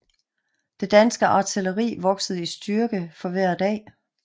Det danske artilleri voksede i styrke for hver dag